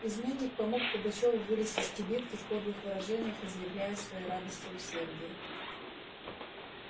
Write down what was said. изменник помог пугачёву вылезть из кибитки в подлых выражениях изъявляя свою радость и усердие